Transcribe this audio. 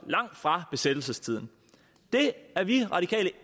langt fra besættelsestiden det er vi radikale